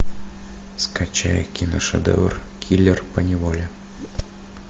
скачай киношедевр киллер по неволе